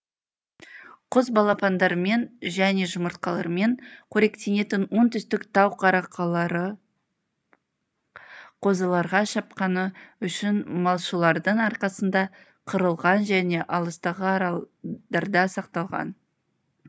құс балапандарымен және жұмыртқаларымен қоректенетін оңтүстік тау каракаралары қозыларға шапқаны үшін малшылардың арқасында қырылған және алыстағы аралдарда сақталған